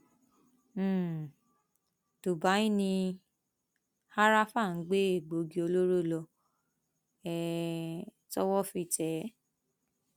um dubai ni háráfà ń gbé egbòogi olóró lọ um tọwọ fi tẹ ẹ